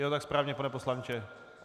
Je to tak správně, pane poslanče?